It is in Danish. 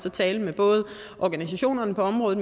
at tale med både organisationerne på området